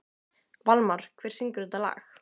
Valmar, hver syngur þetta lag?